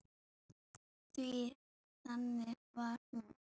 Því þannig var hún.